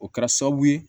O kɛra sababu ye